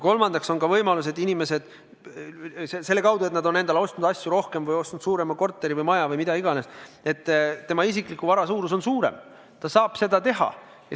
Tänu sellele, et inimesed on ostnud rohkem asju või suurema korteri või maja või mida iganes, nende isikliku vara suurus on suurem, nad on saanud seda teha.